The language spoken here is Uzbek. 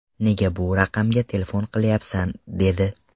Nega bu raqamga telefon qilayapsan?’ dedi.